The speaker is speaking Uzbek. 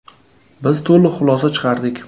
Biz to‘liq xulosa chiqardik.